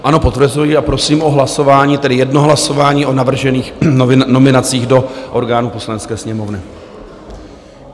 Ano, potvrzuji a prosím o hlasování, tedy jedno hlasování o navržených nominacích do orgánů Poslanecké sněmovny.